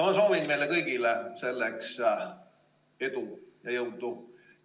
Ma soovin meile kõigile selleks edu ja jõudu!